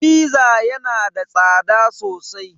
"Fizza" yana da tsada sosai.